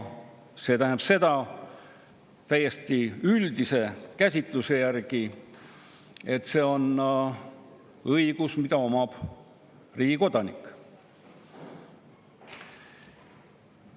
See tähendab täiesti üldise käsitluse järgi seda, et see on õigus, mida omab riigi kodanik.